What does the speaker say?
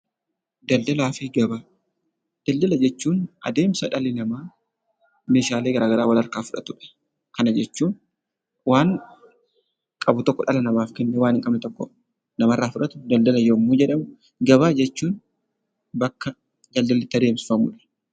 Daldalaa fi Gabaa Daldala jechuun adeemsa dhalli namaa meeshaalee garaagaraa walharkaa fudhatu dha. Kana jechuun waan qabu tokko dhala namaaf kennee waan hin qabne tokko namarraa fudhatu daldala yommuu jedhamu, gabaa jechuun bakka daldalli itti adeemsifamu dha.